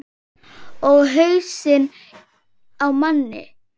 Og hausinn á manni.